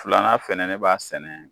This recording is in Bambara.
Filanan fɛnɛ ne b'a sɛnɛ